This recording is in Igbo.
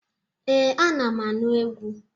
Ee, anam anụ egwu.